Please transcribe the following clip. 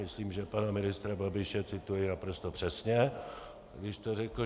Myslím, že pana ministra Babiše cituji naprosto přesně, když to řekl.